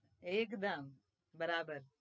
એકદમ બરાબર